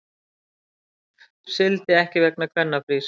Sigldi ekki vegna kvennafrís